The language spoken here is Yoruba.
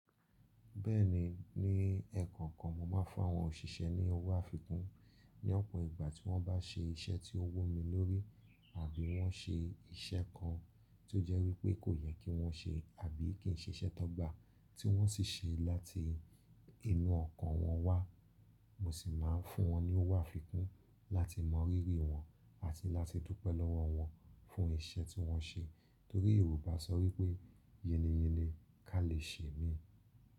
Bẹ́ẹ̀ni, ní ẹ̀ẹ̀kọọkan mo máa ń fun áwọn òṣìṣẹ́ ní owó àfikún ní ọ̀pọ̀ ìgbà tí wọ́n bá ṣe iṣẹ́ tí ó wu mí lórí àbí wọ́n ṣe iṣẹ́ kan tó jẹ́ wípé kò yẹ kí wọ́n ṣe àbí kì í ṣe iṣẹ́ ti wọn gba tí wọ́n sì ṣe láti inú ọkàn wọn wá. Mo sì máa ń fún wọn ní owó àfikún láti mọ rírí wọn àti láti dupẹ́ lọ́wọ́ wọn fún iṣẹ́ tí wọ́n ṣe. Torí Yorùbá sọ wípé: "Yinniyinni ká lè ṣe mií."